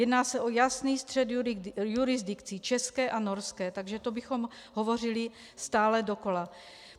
Jedná se o jasný střed jurisdikcí, české a norské, takže to bychom hovořili stále dokola.